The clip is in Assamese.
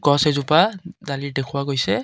গছ এজোপা ডালিৰ দেখুওৱা গৈছে।